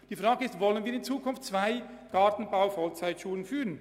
Die Frage lautet: Wollen wir in Zukunft zwei Gartenbau-Vollzeitschulen führen?